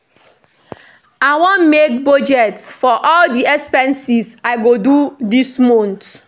I wan make budget for all the expenses I go do dis month